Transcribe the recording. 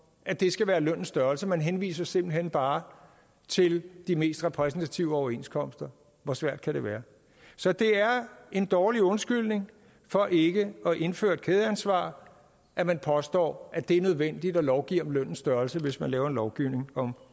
at det skal være lønnens størrelse man henviser simpelt hen bare til de mest repræsentative overenskomster hvor svært kan det være så det er en dårlig undskyldning for ikke at indføre et kædeansvar at man påstår at det er nødvendigt at lovgive om lønnens størrelse hvis man laver en lovgivning om